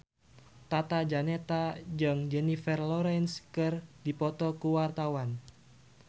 Tata Janeta jeung Jennifer Lawrence keur dipoto ku wartawan